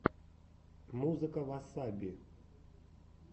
музыка васаби